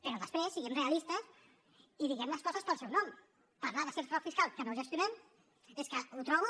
però després siguem realistes i diguem les coses pel seu nom parlar de cert frau fiscal que no gestionem és que ho trobo